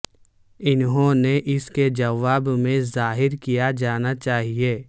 انہوں نے اس کے جواب میں ظاہر کیا جانا چاہئے